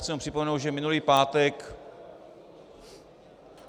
Chci jenom připomenout, že minulý pátek...